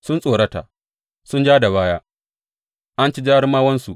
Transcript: Sun tsorata, suna ja da baya, an ci jarumawansu.